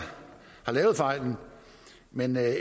lavet fejlen men